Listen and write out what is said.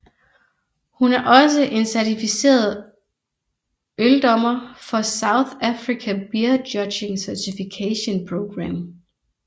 Hun er også en certificeret øldommer for South Africa Beer Judging Certification Program